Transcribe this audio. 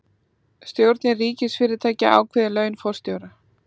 Stjórnir ríkisfyrirtækja ákveði laun forstjóra